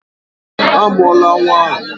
Amụla nwa ahụ!